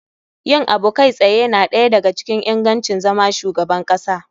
Yin abu kai tsaye na ɗaya da ga cikin ingancin zama shugaban kasa.